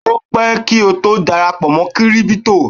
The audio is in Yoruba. o pẹ ki o to darapọ̀ mọ crypto